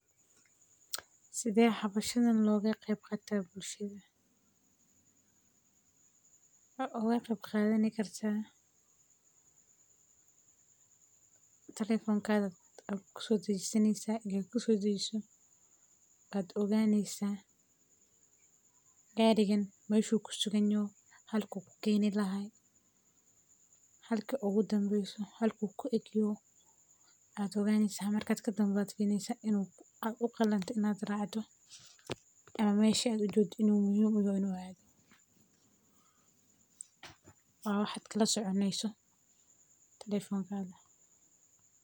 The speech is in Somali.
Sidhe hoshan oga qeb qadani kartaa bulshaada waxaa oga qadan kartaa talefonka aya kusodajinetsa marka maxaa oganeysa halka u usocdo halka u kuistagayo hadaa gari qalad soracde waa mesha kala soconeyso haloan waye.